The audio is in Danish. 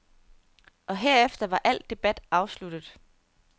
Og herefter var al debat afsluttet.